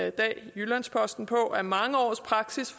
i dag i jyllands posten på at mange års praksis